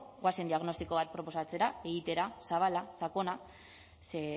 goazen diagnostiko bat proposatzera egitera zabala sakona ze